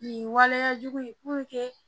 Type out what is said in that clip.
Nin waleya jugu